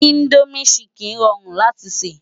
Indómi ṣìkín ròrún láti sè